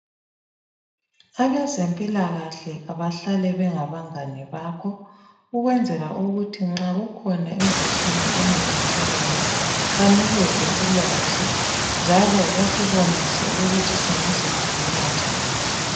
Abezempilakahle abahlale bengabangane bakho ukwenzela ukuthi nxa kukhona imkhuhlane ememethekayo banikeze ulwazi njalo basibonise ukuthi singazivikela njani.